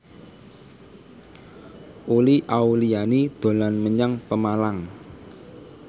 Uli Auliani dolan menyang Pemalang